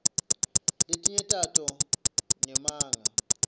letinye tato ngemanga